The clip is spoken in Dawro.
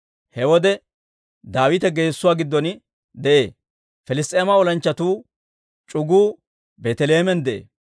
He wode Daawite geessuwaa giddon de'ee; Piliss's'eema olanchchatuu c'uguu Beeteleheemen de'ee.